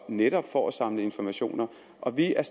netop for at samle informationer og vi er